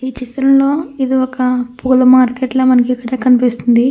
ఈ చిత్రంలో ఇది ఒక పూల మార్కెట్ ల మనకిక్కడ కనిపిస్తుంది.